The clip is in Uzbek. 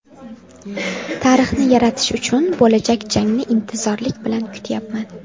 Tarixni yaratish uchun bo‘lajak jangni intizorlik bilan kutyapman.